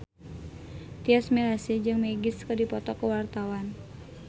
Tyas Mirasih jeung Magic keur dipoto ku wartawan